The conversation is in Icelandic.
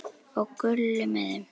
Og Gulli með þeim!